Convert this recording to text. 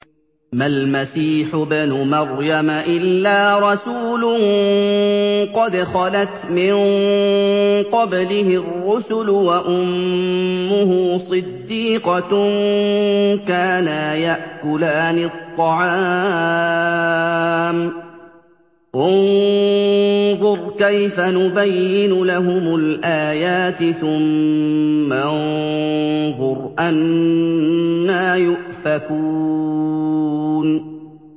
مَّا الْمَسِيحُ ابْنُ مَرْيَمَ إِلَّا رَسُولٌ قَدْ خَلَتْ مِن قَبْلِهِ الرُّسُلُ وَأُمُّهُ صِدِّيقَةٌ ۖ كَانَا يَأْكُلَانِ الطَّعَامَ ۗ انظُرْ كَيْفَ نُبَيِّنُ لَهُمُ الْآيَاتِ ثُمَّ انظُرْ أَنَّىٰ يُؤْفَكُونَ